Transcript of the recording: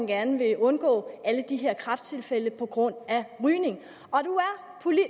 gerne vil undgå alle de her kræfttilfælde på grund af rygning